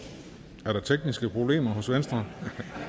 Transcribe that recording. der der tekniske problemer hos venstre